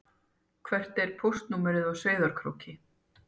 Hvert er póstnúmerið á Sauðárkróki?